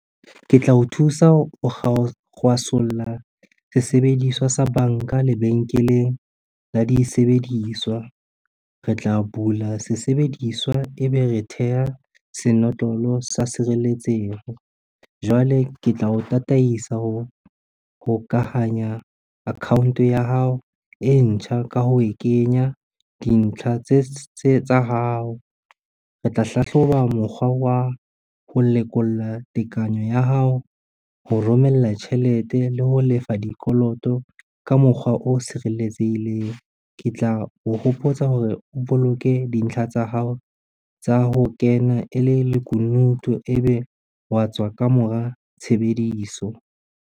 Ke tla o thusa ho kgwasolla sesebediswa sa banka lebenkeleng la disebediswa. Re tla bula sesebediswa ebe re theha senotlolo sa sireletseho, jwale ke tla o tataisa ho hokahanya account ya hao e ntjha ka ho e kenya dintlha tsa hao. Re tla hlahloba mokgwa wa ho lekolla tekanyo ya hao, ho romella tjhelete le ho lefa dikoloto ka mokgwa o sireletsehileng. Ke tla o hopotsa hore o boloke dintlha tsa hao tsa ho kena e le lekunutu ebe wa tswa ka mora tshebediso.